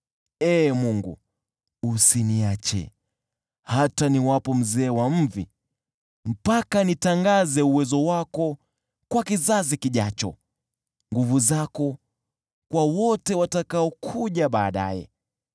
Ee Mungu, usiniache, hata niwapo mzee wa mvi, mpaka nitangaze uwezo wako kwa kizazi kijacho, nguvu zako kwa wote watakaokuja baadaye.